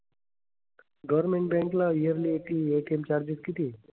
Government bank ला yearly ATM charges किती आहेत?